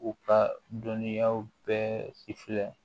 U ka dɔnniyaw bɛɛ si filɛ